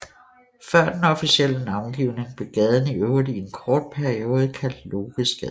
Før den officielle navngivning blev gaden i øvrigt i en kort periode kaldt Lokesgade